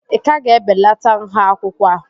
ị ka ga-ebelata nha akwụkwọ a?